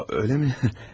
A, eləmi?